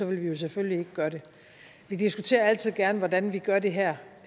vi jo selvfølgelig ikke gøre det vi diskuterer altid gerne hvordan vi gør det her